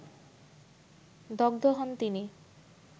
দগ্ধ হন তিন